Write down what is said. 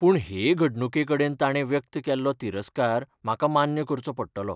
पूण, हे घडणुके कडेन ताणे व्यक्त केल्लो तिरस्कार म्हाका मान्य करचो पडटलो.